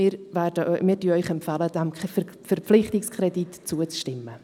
Wir empfehlen Ihnen, diesem Verpflichtungskredit zuzustimmen.